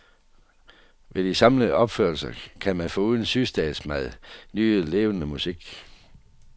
Ved de samlede opførelser kan man foruden sydstatsmad nyde levende musik.